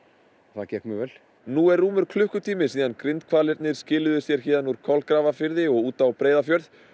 það gekk mjög vel nú er rúmur klukkutími síðan skiluðu sér úr Kolgrafafirði og út á Breiðafjörð